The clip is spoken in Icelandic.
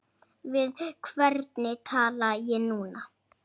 Við hvern tala ég núna?